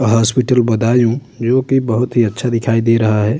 Hospital Budaun जोकि बहुत ही अच्छा दिखाई दे रहा हैं।